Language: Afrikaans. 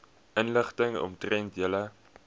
inligting omtrent julle